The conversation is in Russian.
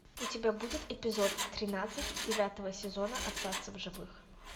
у тебя будет эпизод тринадцать девятого сезона остаться в живых